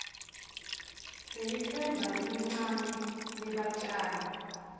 lelitsemba lelincane lebatjali